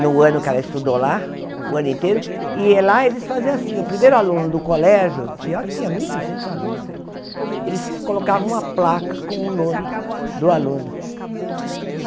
no ano que ela estudou lá, o ano inteiro, e lá eles faziam assim, o primeiro aluno do colégio, e olha que tinha mil e duzentos alunos, eles colocavam uma placa com o nome do aluno.